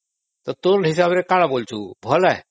ତ ତୋ ହିସାବରେ କଣ କହୁଛୁ ଭଲ?